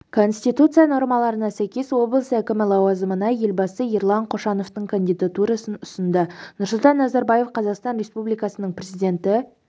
конституция нормаларына сәйкес облыс әкімі лауазымына елбасы ерлан қошановтың кандидатурасын ұсынды нұрсұлтан назарбаев қазақстан республикасының президенті